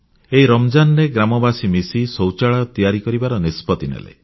ଏହି ରମଜାନରେ ଗ୍ରାମବାସୀ ମିଶି ଶୌଚାଳୟ ତିଆରି କରିବାର ନିଷ୍ପତ୍ତି ନେଲେ